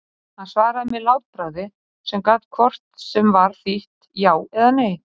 Hann svaraði með látbragði sem gat hvort sem var þýtt já eða nei.